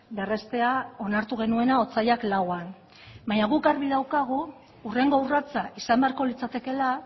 berreztea onartu genuena otsailak lauan baina guk argi daukagu hurrengo urratsa izan beharko litzatekeela